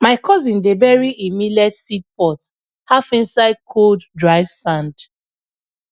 my cousin dey bury e millet seed pot half inside cold dry sand